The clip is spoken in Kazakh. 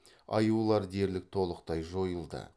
аюлар дерлік толықтай жойылды